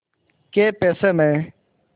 कै पैसे में